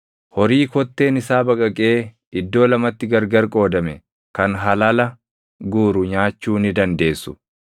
Horii kotteen isaa baqaqee iddoo lamatti gargar qoodame kan halala guuru nyaachuu ni dandeessu.